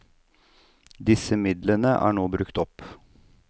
Disse midlene er nå brukt opp.